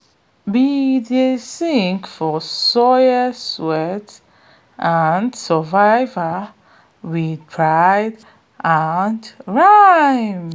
we dey sing for soil sweat and survival wit pride and rhythm